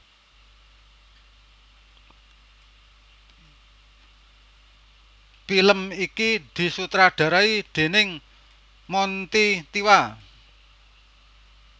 Film iki disutradarai déning Monty Tiwa